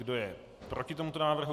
Kdo je proti tomuto návrhu?